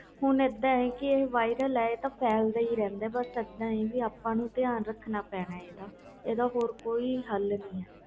ਹੁਣ ਇਹਦਾ ਵ ਇਹ ਤਾ viral ਇਹ ਤਾ ਫੈਲ ਦਾ ਹੀ ਰਹਿਣਾ ਆ ਆਪਨੂੰ ਹੀ ਧਿਆਨ ਰੱਖਣਾ ਪੈਣਾ ਆ